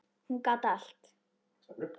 Hún gat allt.